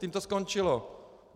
Tím to skončilo.